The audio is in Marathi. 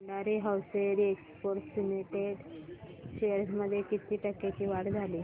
Bhandari hosiery exports limited shares मध्ये किती टक्क्यांची वाढ झाली